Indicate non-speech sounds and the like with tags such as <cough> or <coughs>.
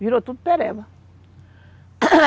Virou tudo pereba <coughs>